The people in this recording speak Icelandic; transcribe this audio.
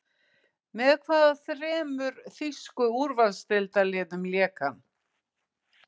Með hvaða þremur þýsku úrvalsdeildarliðum lék hann?